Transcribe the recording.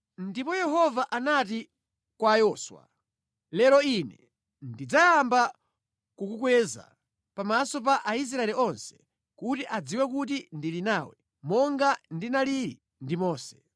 Ndipo Yehova anati kwa Yoswa, “Lero Ine ndidzayamba kukukweza pamaso pa Aisraeli onse kuti adziwe kuti ndili nawe monga ndinalili ndi Mose.